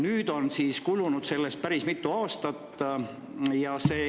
Nüüd on sellest kulunud päris mitu aastat.